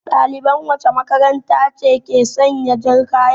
Ɗaliban wacce makaranta ke sanya jan kaya?